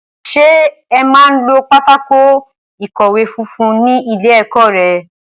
Ṣé ẹ máa ń lo pátákó ìkọ̀wé funfun ní ilé-ẹ̀kọ́ rẹ?